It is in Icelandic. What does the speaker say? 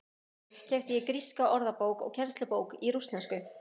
Í Reykjavík keypti ég gríska orðabók og kennslubók í rússnesku.